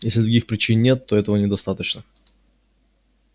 если других причин нет то этого недостаточно